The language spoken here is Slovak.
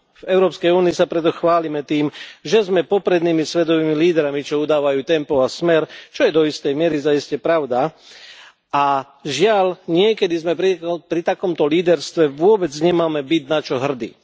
V Európskej únii sa preto chválime tým, že sme poprednými svetovými lídrami, čo udávajú tempo a smer, čo je do istej miery zaiste pravda, a žiaľ niekedy pri takomto líderstve vôbec nemáme byť na čo hrdí.